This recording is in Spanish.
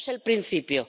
Esto es el principio.